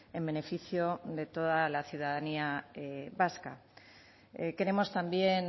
en beneficio de toda la ciudadanía vasca queremos también